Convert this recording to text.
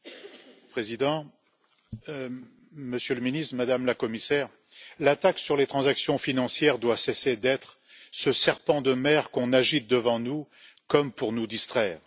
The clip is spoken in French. Monsieur le Président, Monsieur le Ministre, Madame la Commissaire, la taxe sur les transactions financières doit cesser d'être ce serpent de mer qu'on agite devant nous, comme pour nous distraire.